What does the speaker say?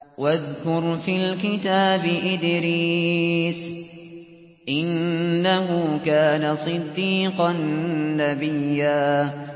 وَاذْكُرْ فِي الْكِتَابِ إِدْرِيسَ ۚ إِنَّهُ كَانَ صِدِّيقًا نَّبِيًّا